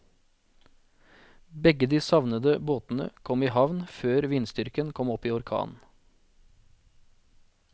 Begge de savnede båtene kom i havn før vindstyrken kom opp i orkan.